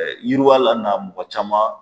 Ɛɛ yiriwa lana mɔgɔ caman